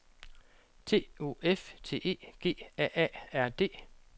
T O F T E G A A R D